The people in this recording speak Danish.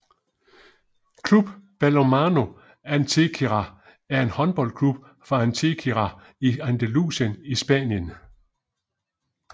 Club Balonmano Antequera er en håndboldklub fra Antequera i Andalusien i Spanien